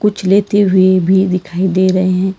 कुछ लेते हुए भी दिखाई दे रहे हैं।